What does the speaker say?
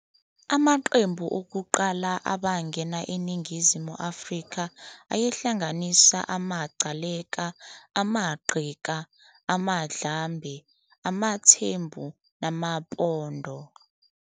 Amaqembu okuqala abangena eNingizimu Afrika ayehlanganisa amaGcaleka, amaNgqika, amaNdlambe, amaThembu namaPondo.